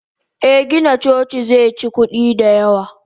Eh Gina coci zeci kudi da yawa.